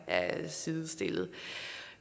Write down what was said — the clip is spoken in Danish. sidestillede